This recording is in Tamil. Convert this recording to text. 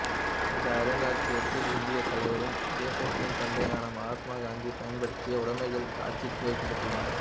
இந்த அருங்காட்சியகத்தில் இந்தியத் தலைவரும் தேசத்தின் தந்தையான மகாத்மா காந்தி பயன்படுத்திய உடமைகள் காட்சிக்கு வைக்கப்பட்டுள்ளன